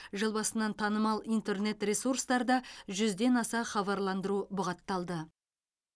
жыл басынан танымал интернет ресурстарда жүзден аса хабарландыру бұғатталды